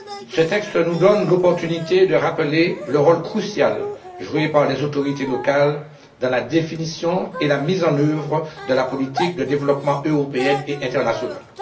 Ce texte nous donne l'opportunité de rappeler le rôle crucial joué par les autorités locales dans la définition et la mise en œuvre de la politique de développement européenne et internationale.